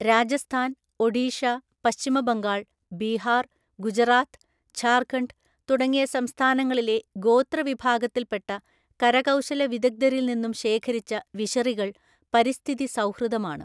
രാജസ്ഥാൻ, ഒഡീഷ, പശ്ചിമബംഗാൾ, ബീഹാർ, ഗുജറാത്ത്, ജാര്ഖണ്ഡ് തുടങ്ങിയ സംസ്ഥാനങ്ങളിലെ ഗോത്ര വിഭാഗത്തിൽപ്പെട്ട കരകൗശല വിദഗ്ധരിൽ നിന്നും ശേഖരിച്ച വിശറികൾ പരിസ്ഥിതി സൗഹൃദമാണ്.